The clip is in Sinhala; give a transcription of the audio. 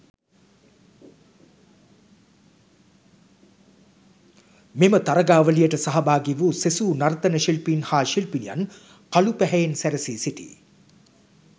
මෙම තරගාවලියට සහාගිවූ සෙසු නර්තන ශිල්පීන් හා ශිල්පිනියන් කළු පැහැයෙන් සැරසී සිටිය